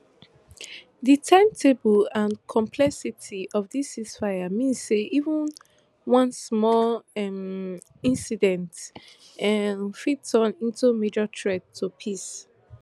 di timetable and complexity of dis ceasefire means say even one small um incident um fit turn into major threat to peace